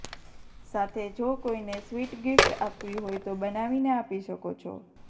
સાથે જો કોઈને સ્વીટ ગીફ્ટ આપવી હોય તો બનાવીને આપી શકો છો